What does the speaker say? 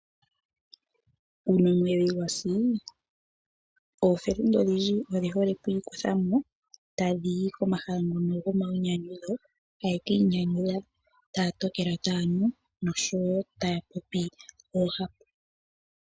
Uuna omwedhi gwasi ookuume oyendji oye hole oku ikutha mo, tadhi yi komahala ngono gomainyanyudho taya ka inyanyudha. Taya tokelwa taya nu noshowo taya popi oohapu.